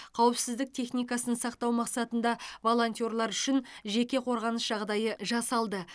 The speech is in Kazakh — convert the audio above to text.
қауіпсіздік техникасын сақтау мақсатында волонтерлер үшін жеке қорғаныс жағдайы жасалды